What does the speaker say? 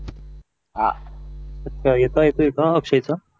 अं आता येतोय अक्षय चा